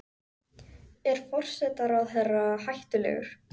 Er forsætisráðherra hættulegur?